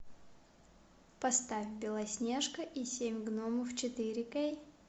поставь белоснежка и семь гномов четыре кей